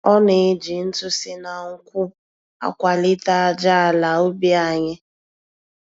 Ọ na-eji ntụ si na nkwụ́ akwalite aja ala ubi anyị.